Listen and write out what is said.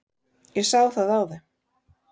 Ég sá það á þeim.